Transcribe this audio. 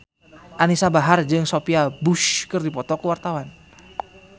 Anisa Bahar jeung Sophia Bush keur dipoto ku wartawan